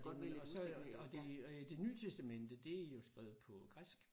Og så øh det øh det nye testamente det er jo skrevet på græsk